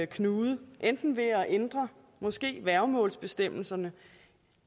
knude enten ved måske at ændre værgemålsbestemmelserne